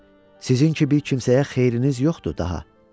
Sizin ki, bir kimsəyə xeyriniz yoxdur daha.